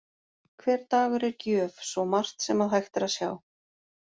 Hver dagur er gjöf, svo margt sem að hægt er að sjá.